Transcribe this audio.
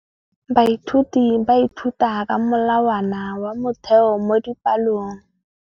Baithuti ba ithuta ka molawana wa motheo mo dipalong.